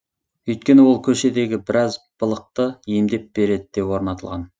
өйткені ол көшедегі біраз былықты емдеп береді деп орнатылған